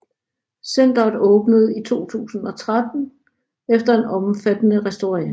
Centeret åbnede i 2013 efter en omfattende restaurering